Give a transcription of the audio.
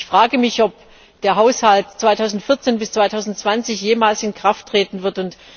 Ich frage mich, ob der Haushalt 2014 bis 2020 jemals in Kraft treten wird.